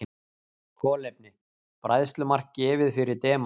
Kolefni: Bræðslumark gefið fyrir demant.